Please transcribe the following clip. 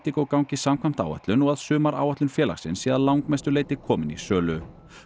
Indigo gangi samkvæmt áætlun og að sumaráætlun félagsins sé að langmestu leyti komin í sölu